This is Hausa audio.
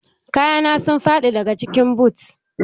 Kaya na sun faɗi daga cikin but